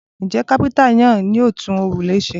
Ǹjẹ́ kápẹ́ńtà náà yóò tún òrùlé ṣe?